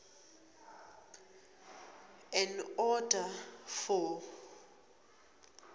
an order for